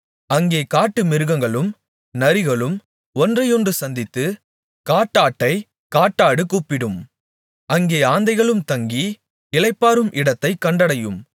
அங்கே காட்டுமிருகங்களும் நரிகளும் ஒன்றையொன்று சந்தித்து காட்டாட்டைக் காட்டாடு கூப்பிடும் அங்கே ஆந்தைகளும் தங்கி இளைப்பாறும் இடத்தைக் கண்டடையும்